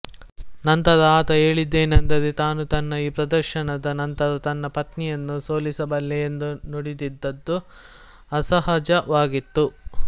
ನಂತರ ಆತ ಹೇಳಿದ್ದೇನೆಂದರೆ ತಾನು ತನ್ನ ಈ ಪ್ರದರ್ಶನದ ನಂತರ ತನ್ನ ಪತ್ನಿಯನ್ನೂ ಸೋಲಿಸಬಲ್ಲೆ ಎಂದು ನುಡಿದದ್ದು ಅಸಹಜವಾಗಿತ್ತು